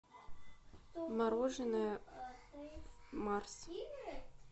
мороженое марс